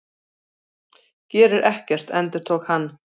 Gerir ekkert, endurtók hann.